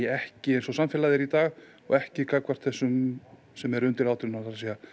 ekki eins og samfélagið er í dag og ekki gagnvart þessum sem eru undir átján ára